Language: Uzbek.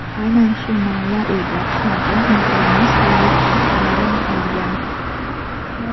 Aynan shu malla uyda (xonada) unutilmas bolalik xotiralarim qolgan.